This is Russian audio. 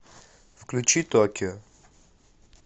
включи токио